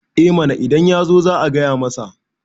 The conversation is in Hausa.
eh mana idan ya zo za a gaya masa